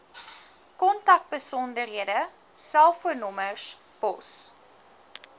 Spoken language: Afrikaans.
kontakbesonderhede selfoonnommers pos